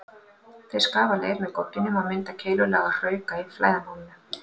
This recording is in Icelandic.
Þeir skafa leir með gogginum og mynda keilulaga hrauka í flæðarmálinu.